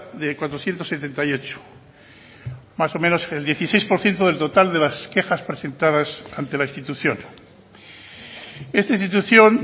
de cuatrocientos setenta y ocho más o menos el dieciséis por ciento del total de las quejas presentadas ante la institución esta institución